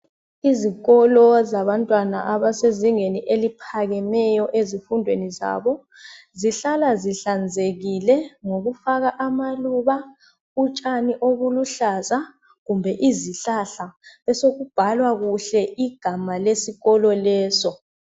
Izikolo zabantwana abasezingeni eliphakemeyo lezimfundweni zabo, zihlala zihlanzikile ngokufaka amaluba, utshani oluluhlaza kumbe izihlahla. Besokubhalwa kuhle ibizo leskolo leso.